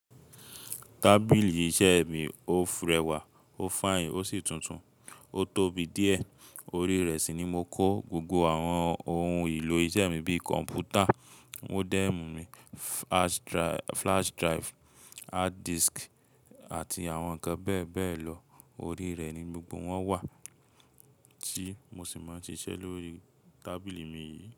Tábìlì iṣẹ́ mi ó rẹwà, ó fine ó sì tuntun. Ó tóbi díẹ̀, orí rẹ̀ sì ni mo kó gbogbo àwọn òun èlò iṣẹ́ mi bí komputer, modem, flash drive, hard disk àti àwọn be be lọ. Orí rẹ̀ ni gbogbo wọn wà tí mo sì máa ń ṣise lórí tábìlì mi yìí.